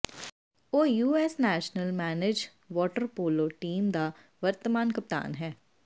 ਉਹ US national men's water polo team ਦਾ ਵਰਤਮਾਨ ਕਪਤਾਨ ਹੈ